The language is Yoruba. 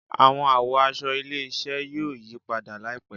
Awọn àwọ̀ aṣọ ilé-iṣẹ yóò yí padà laipẹ